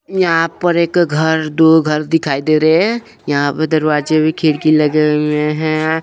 यहां पर एक घर दो घर दिखाई दे रहे हैं यहां पे दरवाजे भी खिड़की लगे हुए हैं।